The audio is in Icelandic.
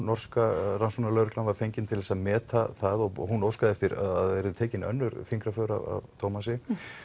norska rannsóknarlögreglan var fengin til að meta það og hún óskaði eftir að yrðu tekin önnur fingraför af Thomasi